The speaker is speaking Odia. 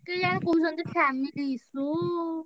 କେଜାଣି କହୁଛନ୍ତି family issue ।